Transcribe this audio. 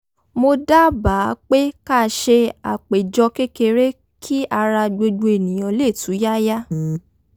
mo dábàá pé ká ṣe àpéjọ kékeré kí ara gbogbo èèyàn lè túyáyá